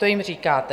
To jim říkáte.